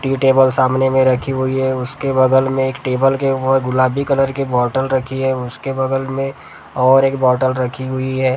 Table सामने में रखी हुई है उसके बगल में एक टेबल के और गुलाबी कलर की बोतल रखी है उसके बगल में और एक बोतल रखी हुई है।